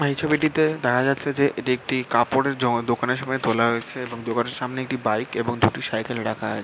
এই ছবিটিতে দেখা যাচ্ছে যে একটি কাপড়ের জো দোকানের সামনে তোলা হয়েছে এবং দোকানের সামনে একটি বাইক এবং দুটি সাইকেল রাখা আ--